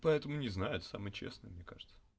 поэтому не знает самый честный мне кажется